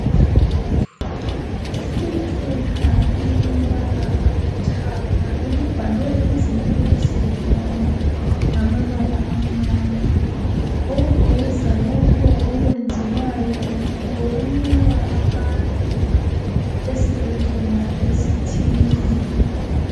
Iphepha elilombala olithanga elibhalwe izimemezelo ngamabala amnyama okuveza lokho okwenziwayo lokunikwa abantu esibhedlela esithile.